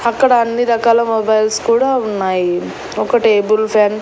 అక్కడ అన్ని రకాల మొబైల్స్ కూడా ఉన్నాయి ఒక టేబుల్ ఫ్యాన్ .